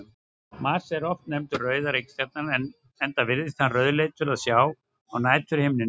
Mars er oft nefndur rauða reikistjarnan enda virðist hann rauðleitur að sjá á næturhimninum.